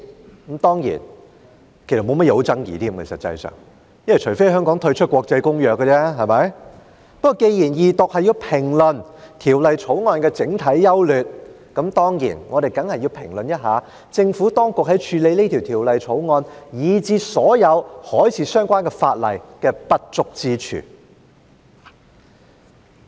不過，既然這項二讀辯論是要評論《2019年運貨貨櫃條例草案》的整體優劣，我們當然要評論一下，政府當局在處理《條例草案》，以至所有海事相關的法例的不足之處。